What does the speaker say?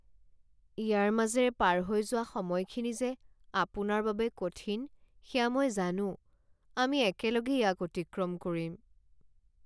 ইয়াৰ মাজেৰে পাৰ হৈ যোৱা সময়খিনি যে আপোনাৰ বাবে কঠিন সেয়া মই জানো! আমি একেলগে ইয়াক অতিক্ৰম কৰিম।